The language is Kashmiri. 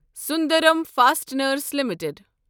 Sundaram fasteners limited